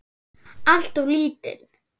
Alltof lítinn.